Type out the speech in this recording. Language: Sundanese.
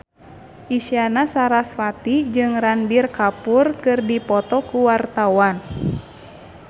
Isyana Sarasvati jeung Ranbir Kapoor keur dipoto ku wartawan